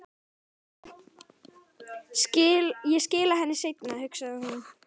Ég skila henni seinna, hugsaði hún.